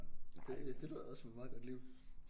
Det det lyder også som et meget godt liv